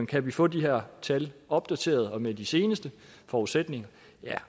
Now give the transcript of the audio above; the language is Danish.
kan få de her tal opdateret med de seneste forudsætninger